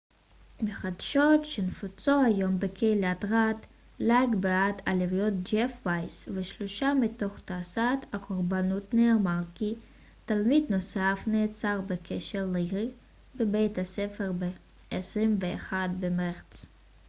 בחדשות שנפוצו היום בקהילת רד לייק בעת הלוויות ג'ף וייס ושלושה מתוך תשעת הקורבנות נאמר כי תלמיד נוסף נעצר בקשר לירי בבית הספר ב-21 במרץ